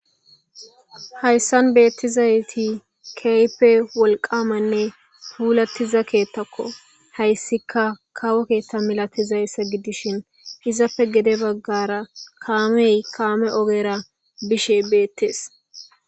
hayssan beettizayti keype wolqamanne huulattiza keettakko hayssika kawo keetta milatizayssa giddishin izappe gede baggara kaamey kaame ogera bishe beettees